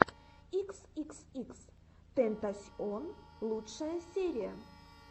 икс икс икс тентасьон лучшая серия